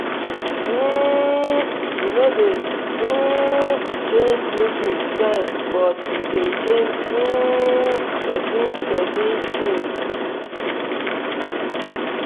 um e no dey um change meeting time but e dey change um person person things